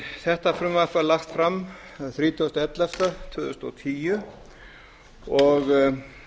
þetta frumvarp var lagt fram þann þrjátíu ellefu tvö þúsund og tíu og